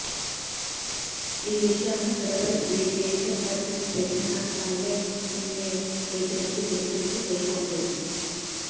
ఈ విషయాన్ని federal aviation administration and pilot union ప్రతినిధులు తెలిపినట్లు పేర్కొంది